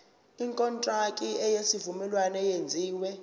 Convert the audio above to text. ikontraki yesivumelwano eyenziwe